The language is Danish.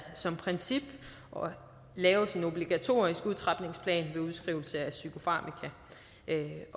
som princip laves en obligatorisk udtrapningsplan ved udskrivelse af psykofarmaka